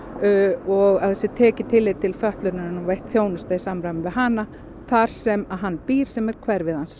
og að það sé tekið tillit til fötlunarinnar og veitt þjónusta í samræmi við hana þar sem hann býr sem er hverfið hans